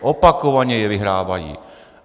Opakovaně je vyhrávají.